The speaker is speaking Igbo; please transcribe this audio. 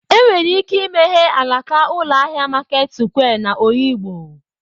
Enwere ike imeghe alaka ụlọ ahịa Maket sụkwịa n'Oyigbo.